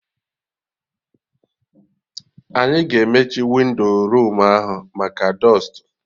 Anyị ga-emechi windo room ahụ maka dọstụ